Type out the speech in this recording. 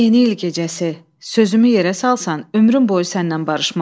Bu yeni il gecəsi sözümü yerə salsan, ömrüm boyu sənnən barışmaram.